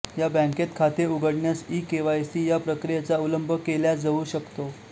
या बँकेत खाते उघडण्यास इकेवायसी या प्रक्रियेचा अवलंब केल्या जऊ शकतो